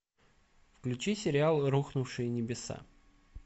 включи сериал рухнувшие небеса